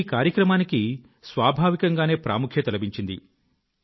ఈ కార్యక్రమానికి స్వాభావికంగానే ప్రాముఖ్యత లభించింది